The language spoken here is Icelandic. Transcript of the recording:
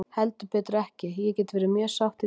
Heldur betur ekki, ég get verið mjög sátt í dag.